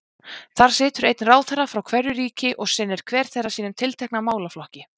Þar situr einn ráðherra frá hverju ríki og sinnir hver þeirra sínum tiltekna málaflokki.